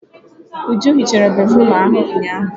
Uju hichara béfrụm ahụ ụnyahụ.